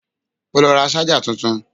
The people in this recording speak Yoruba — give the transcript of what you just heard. O ló ra ṣájà tuntun.